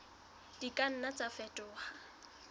di ka nna tsa fetoha